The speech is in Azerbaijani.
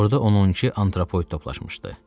Orada onun 12 antropoid toplaşmışdı.